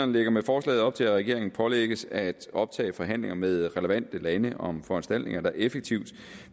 lægger med forslaget op til at regeringen pålægges at optage forhandlinger med relevante lande om foranstaltninger der effektivt